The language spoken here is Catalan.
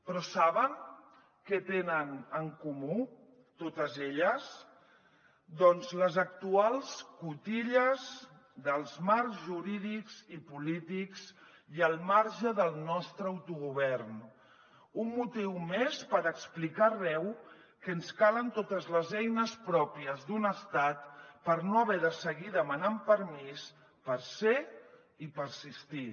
però saben què tenen en comú totes elles doncs les actuals cotilles dels marcs jurídics i polítics i al marge del nostre autogovern un motiu més per explicar arreu que ens calen totes les eines pròpies d’un estat per no haver de seguir demanant permís per ser i persistir